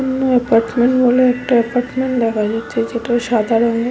এখানে এ্যাপার্টমেন্ট বলে এ্যাপার্টমেন্ট দেখা যাচ্ছে যেটা সাদা রঙের--